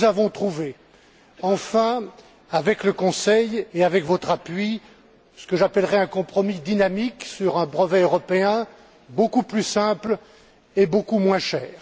Nous avons trouvé, enfin, avec le Conseil et avec votre appui, ce que j'appellerai un compromis dynamique sur un brevet européen beaucoup plus simple et beaucoup moins cher.